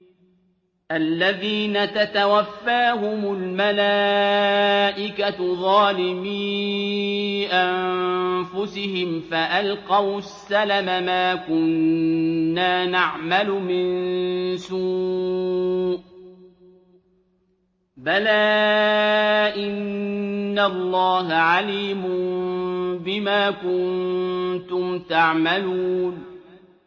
الَّذِينَ تَتَوَفَّاهُمُ الْمَلَائِكَةُ ظَالِمِي أَنفُسِهِمْ ۖ فَأَلْقَوُا السَّلَمَ مَا كُنَّا نَعْمَلُ مِن سُوءٍ ۚ بَلَىٰ إِنَّ اللَّهَ عَلِيمٌ بِمَا كُنتُمْ تَعْمَلُونَ